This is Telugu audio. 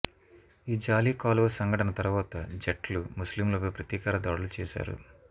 ఈ జాలీ కాలువ సంఘటన తరువాత జట్ లు ముస్లింలపై ప్రతీకార దాడులు చేసారు